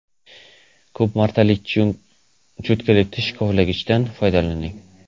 Ko‘p martalik cho‘tkali tish kovlagichdan foydalaning.